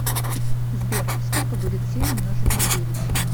сбер сколько будет семь умножить на девять